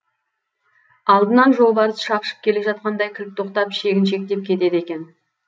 алдынан жолбарыс шапшып келе жатқандай кілт тоқтап шегіншектеп кетеді екен